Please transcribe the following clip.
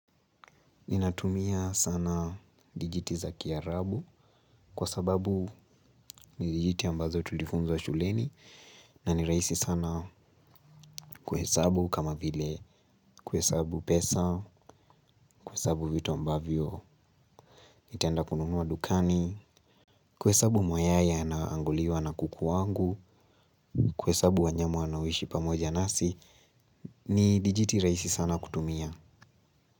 Ninatumia sana dijiti za kiarabu kwa sababu ni dijiti ambazo tulifunzwa shuleni na ni rahisi sana kuhesabu kama vile kuhesabu pesa, kuhesabu vitu ambavyo, nitaenda kununua dukani, kuhesabu mayai yanao anguliwa na kuku wangu, kuhesabu wanyama wanaoishi pamoja nasi, ni dijiti rahisi sana kutumia.